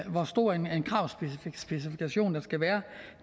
hvor stor en kravspecifikation der skal være